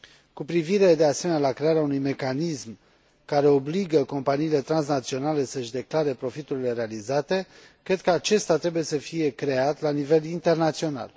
Cu privire, de asemenea, la crearea unui mecanism care obligă companiile transnaționale să își declare profiturile realizate, cred că acesta trebuie să fie creat la nivel internațional.